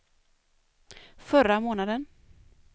förra månaden